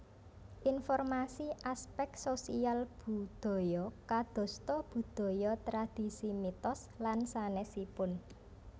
Informasi aspek sosial budaya kadosta budaya tradisi mitos lan sanèsipun